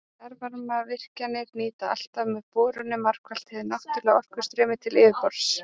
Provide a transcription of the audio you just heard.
Jarðvarmavirkjanir nýta alltaf með borunum margfalt hið náttúrlega orkustreymi til yfirborðs.